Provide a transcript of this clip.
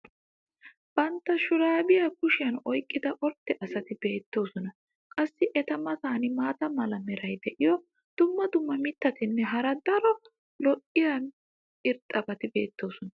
bantta shuraabiya kushiyan oyqqida ordde asati beettoosona. qassi eta matan maata mala meray diyo dumma dumma mittatinne hara daro lo'iya irxxabati beettoosona.